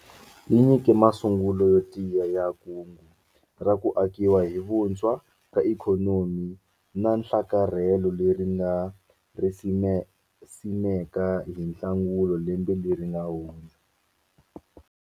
Yi nyike masungulo yo tiya ya Kungu ra ku Akiwa hi Vuntshwa ka Ikhonomi na nhlakarhelo leri hi nga ri simeka hi Nhlangula lembe leri nga hundza.